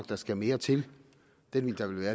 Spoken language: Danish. der skal mere til det vil der vel være